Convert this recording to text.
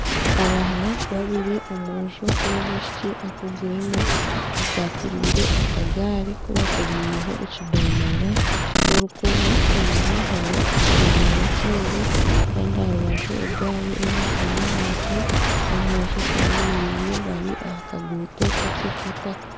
Abaana babiri omwojo n'omwishiki akuziremu akwatirire akagari kubakomireho ekidomora n'orukoba. Enyima hariyo ekidomora ekindi Kandi aharubaju egari emwe eri ahansi n'omwojo ayemereire bari aha kaguuto kakye k'itaka.